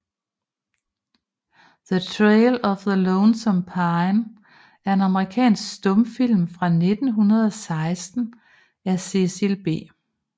The Trail of the Lonesome Pine er en amerikansk stumfilm fra 1916 af Cecil B